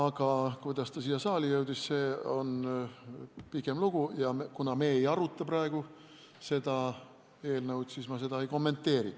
Aga kuidas see siia saali jõudis, on pikem lugu ja kuna me ei aruta praegu seda eelnõu, siis ma seda ei kommenteeri.